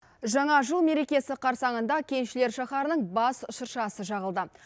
жаңа жыл мерекесі қарсаңында кеншілер шаһарының бас шыршасы жағылды